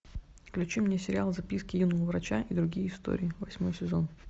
включи мне сериал записки юного врача и другие истории восьмой сезон